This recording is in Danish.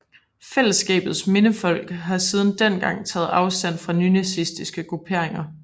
Fællesskabets Mindefond har siden dengang taget afstand fra nynazistiske grupperinger